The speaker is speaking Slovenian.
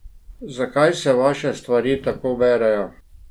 Zakaj se vaše stvari tako berejo?